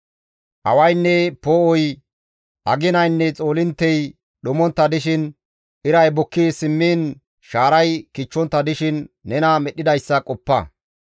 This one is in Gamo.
Awaynne poo7oy, aginaynne xoolinttey dhumontta dishin, iray bukki simmiin shaaray kichchontta dishin nena Medhdhidayssa qoppa.